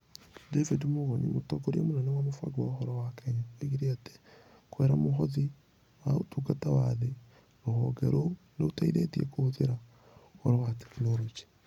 David Mugonyi, Mũtongoria mũnene wa Mũbango wa Ũhoro wa Kenya, oigire atĩ kũgerera Mũhothi wa Ũtungata wa Thĩ, rũhonge rũu nĩ rũteithĩtie kũhũthĩra Ũhoro na Teknoroji.